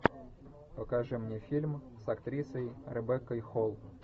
покажи мне фильм с актрисой ребеккой холл